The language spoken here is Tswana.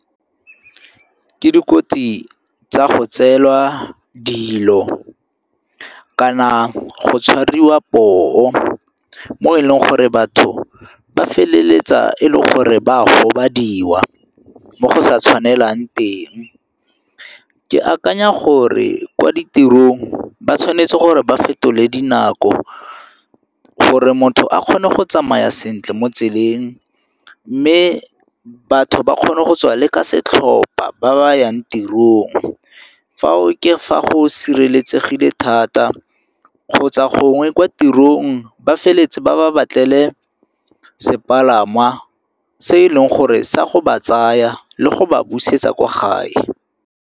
Ke dikotsi tsa go tseelwa dilo kana go tshwariwa poo mo e leng gore batho ba feleletsa e le gore ba a gobadiwa mo go sa tshwanelang teng. Ke akanya gore kwa ditirong ba tshwanetse gore ba fetole dinako gore motho a kgone go tsamaya sentle mo tseleng mme batho ba kgone go tswa le ka setlhopa ba ba yang tirong. Fa ke fa go sireletsegile thata kgotsa gongwe kwa tirong ba feleletse ba ba batlele sepalangwa se e leng gore sa go ba tsaya le go ba busetsa kwa gae.